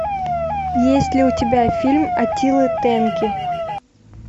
есть ли у тебя фильм аттилы тенки